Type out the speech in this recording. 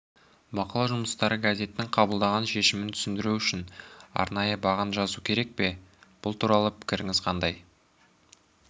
бақылау жұмыстары газеттің қабылдаған шешімін түсіндіру үшін арнайы баған жазу керек пе бұл туралы пікіріңіз қандай